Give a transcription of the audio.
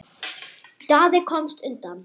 Daði komst undan.